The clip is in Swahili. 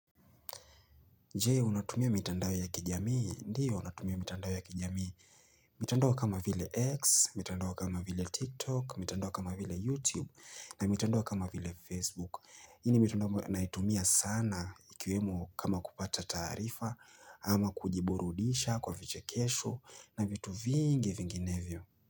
Jee, unatumia mitandao ya kijamii? Ndiyo, natumia mitandao ya kijamii. Mitandao kama vile X, mitandao kama vile TikTok, mitandao kama vile YouTube, na mitandao kama vile Facebook. Hii mitandao naitumia sana ikiwemo kama kupata taarifa ama kujiburudisha kwa viche kesho na vitu vingi vinginevyo.